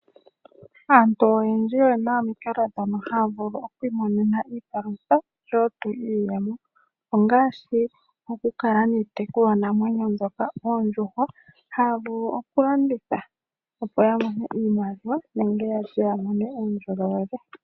Aantu oyendji oyena omikalo mono haa vulu oku imonena iipalutha osho wo tuu iiyemo. Ongaashi oku kala niitekulwanamwenyo mbyoka oondjuhwa haa vulu okulanditha opo ya mone iimaliwa nenge ya lye ya mone uundjolowele.